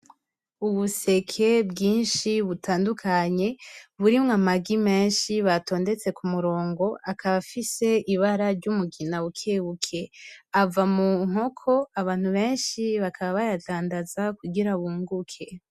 Ubuseke bwinshi butandukanye burimwo amagi menshi batondetse ku murongo akaba afise ibara ry’umugina bukebuke , ava mu nkoko abantu benshi bakaba bayadandaza kugira bunguke.